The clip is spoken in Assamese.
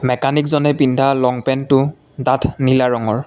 মেকানিকজনে পিন্ধা লং পেন্টটো ডাঠ নীলা ৰঙৰ।